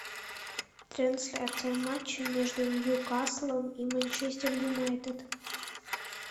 трансляция матча между ньюкаслом и манчестер юнайтед